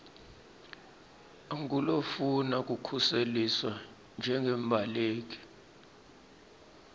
angulofuna kukhuseliswa njengembaleki